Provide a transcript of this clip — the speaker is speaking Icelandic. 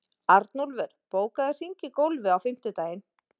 Arnúlfur, bókaðu hring í golf á fimmtudaginn.